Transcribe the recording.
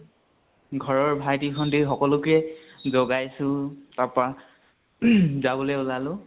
ঘৰৰ ভাইটি ভন্তি সকলোকে জগাইছো তাৰপা উহু যাবলৈ উলালো।